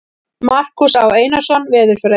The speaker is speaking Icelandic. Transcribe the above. Markús Á. Einarsson, Veðurfræði.